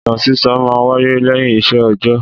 Ìtàn sísọ máa ń wáyé lẹ́yìn iṣẹ́ ọ̀jọ́.